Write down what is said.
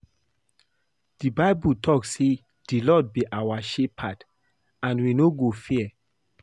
The bible talk say the lord be our shepherd and we no go fear